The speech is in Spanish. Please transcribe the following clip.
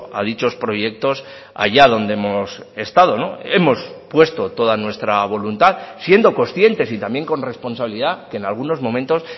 a dichos proyectos allá donde hemos estado hemos puesto toda nuestra voluntad siendo conscientes y también con responsabilidad que en algunos momentos